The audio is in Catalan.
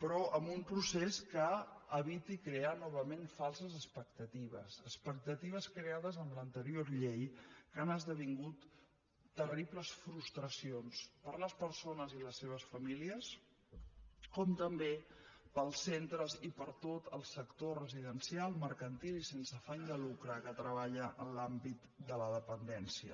però amb un procés que eviti crear novament falses expectatives expectatives creades amb l’anterior llei que han esdevingut terribles frustracions per a les persones i les seves famílies com també per als centres i per a tot el sector residencial mercantil i sense afany de lucre que treballa en l’àmbit de la dependència